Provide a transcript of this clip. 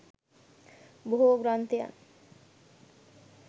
බොහෝ ග්‍රන්ථයන්